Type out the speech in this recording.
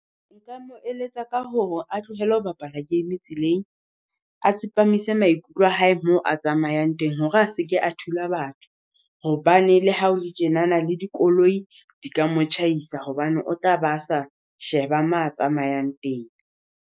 Nka mo eletsa ka hore a tlohele ho bapala game tseleng, a tsepamise maikutlo a hae mo a tsamayang teng, hore a se ke a thula batho. Hobane le ha o le tjenana le dikoloi di ka mo tjhaisa hobane o tla ba sa sheba ma a tsamayang teng.